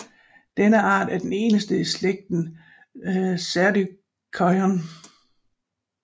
Denne art er den eneste i slægten Cerdocyon